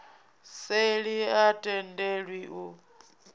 seli a i tendelwi u